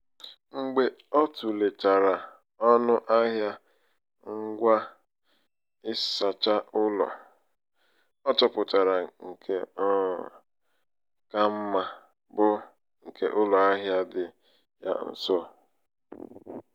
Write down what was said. mgbe ọ tulechara ọnụ ahịa ngwa ịsacha ụlọ um ọ chọpụtara nke um ka mma bụ nke ụlọ ahịa dị ya nso.